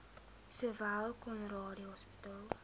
sowel conradie hospitaal